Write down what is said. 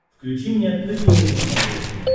включи мне открытый мир на смотрешке